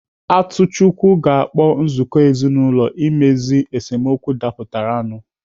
Atuchukwu ga-akpọ nzukọ ezinaụlọ imezu esemokwu dapụtara nu